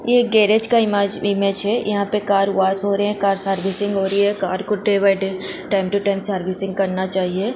ये गॅरेज का इमेज है यहाँ पे कार वॉश हो रहे है कार सर्वेसिंग हो रही है कार को टाइम टो टाइम सर्विसिंग करना चाहिए।